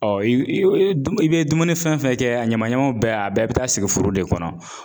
i bɛ i bɛ i bɛ dumuni fɛn fɛn kɛ a ɲaman ɲaman bɛɛ a bɛɛ bɛ taa sigi furu de kɔnɔ.